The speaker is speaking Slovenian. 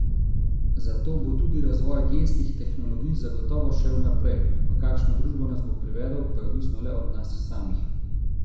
Zato bo tudi razvoj genskih tehnologij zagotovo šel naprej, v kakšno družbo nas bo privedel, pa je odvisno le od nas samih.